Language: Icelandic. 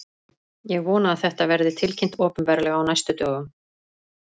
Ég vona að þetta verði tilkynnt opinberlega á næstu dögum.